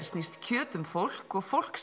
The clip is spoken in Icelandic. snýst kjöt um fólk og fólk